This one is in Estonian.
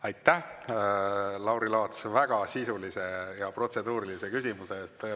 Aitäh, Lauri Laats, väga sisulise protseduurilise küsimuse eest!